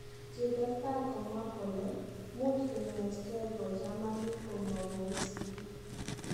kitestai komwaa kole muuch kemetngeei koo chamaniik gomo kou sigiik.